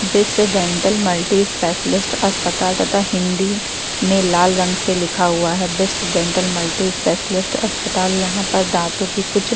Bisht dental multi specialist अस्पताल तथा हिंदी में लाल रंग से लिखा हुआ है बिष्ट डेंटल मल्टी स्पेशलिस्ट अस्पताल यहाँ पर दांतो के कुछ --